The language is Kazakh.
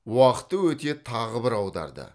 уақыты өте тағы бір аударды